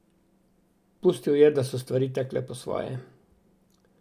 Pustil je, da so stvari tekle po svoje.